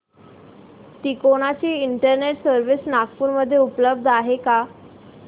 तिकोना ची internet service Nagpur मध्ये उपलब्ध आहे का